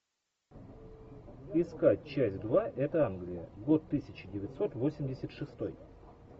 искать часть два это англия год тысяча девятьсот восемьдесят шестой